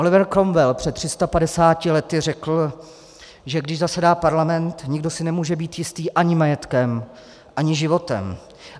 Oliver Cromwell před 350 lety řekl, že když zasedá parlament, nikdo si nemůže být jistý ani majetkem ani životem.